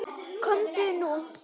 Komdu nú!